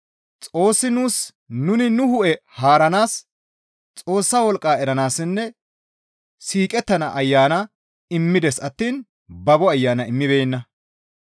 Xoossi nuus nuni nu hu7e haaranaas Xoossa wolqqa eranaassinne siiqettana Ayana immides attiin babo ayana immibeenna.